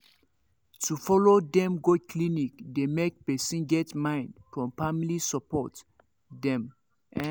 to follow dem go clinic dey make person get mind from family support dem ehn